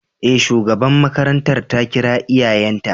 E, shugaban makarantar ta kira iyayenta.